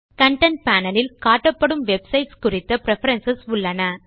content panel இல் காட்டப்படும் websites குறித்த பிரெஃபரன்ஸ் உள்ளன